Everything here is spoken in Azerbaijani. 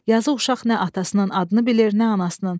Yazıq uşaq nə atasının adını bilir, nə anasının.